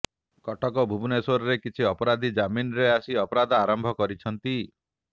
କଟକ ଓ ଭୁବନେଶ୍ୱରରେ କିଛି ଅପରାଧୀ ଜାମିନ୍ରେ ଆସି ଅପରାଧ ଆରମ୍ଭ କରିଛନ୍ତି